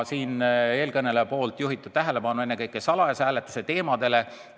Eelkõneleja juhtis tähelepanu ennekõike salajase hääletuse küsimusele.